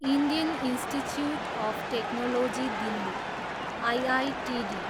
Indian institute of technology Delhi, IITD